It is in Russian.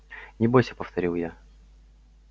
не бойся повторил я